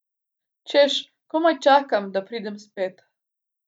Češ komaj čakam, da pridem spet!